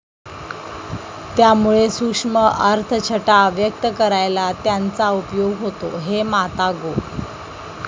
त्यामुळे सूक्ष्म अर्थछटा व्यक्त करायला त्यांचा उपयोग होतो हे माता गो.